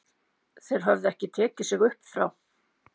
Þeir höfðu ekki tekið sig upp frá